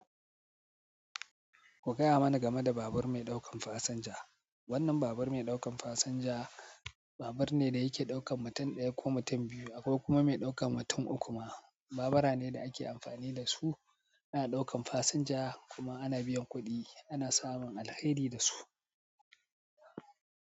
Ku gaya mana game da babur mai ɗaukan fasinja. Wannan babur mai ɗauka fasinja babur ne da yake ɗaukan mutum ɗaya ko mutum biyu akwai kuma mai ɗaukan mutum uku ma. Babura ne da ake amfani da su ana ɗaukan fasinja kuma ana biyan kuɗi ana samun alheri da su.